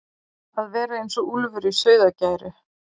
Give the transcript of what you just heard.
að vera eins og úlfur í sauðargæru